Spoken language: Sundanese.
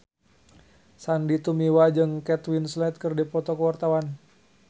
Sandy Tumiwa jeung Kate Winslet keur dipoto ku wartawan